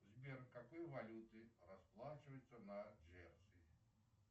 сбер какой валютой расплачиваются на джерси